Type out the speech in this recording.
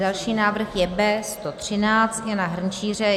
Další návrh je B113 Jana Hrnčíře.